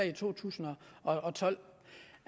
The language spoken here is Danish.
i to tusind og tolv